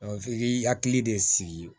f'i k'i hakili de sigi